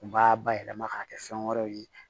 U b'a bayɛlɛma k'a kɛ fɛn wɛrɛw ye